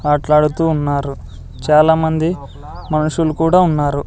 ఆట్లాడుతూ ఉన్నారు చాలామంది మనుషులు కూడా ఉన్నారు.